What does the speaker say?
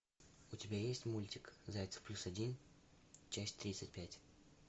у тебя есть мультик зайцев плюс один часть тридцать пять